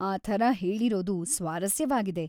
ಆ ಥರ ಹೇಳಿರೋದು ಸ್ವಾರಸ್ಯವಾಗಿದೆ.